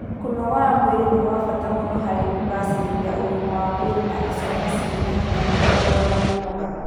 Kũnogora mwĩrĩ nĩ gwa bata mũno harĩ kũgacĩrithia ũgima wa mwĩrĩ na icoka cirĩ na hinya na kũrũa na mĩnoga